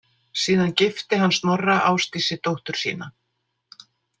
Síðan gifti hann Snorra Ásdísi dóttur sína.